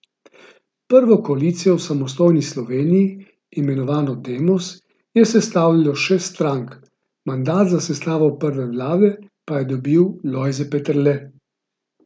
Prvo koalicijo v samostojni Sloveniji, imenovano Demos, je sestavljalo šest strank, mandat za sestavo prve vlade pa je dobil Lojze Peterle.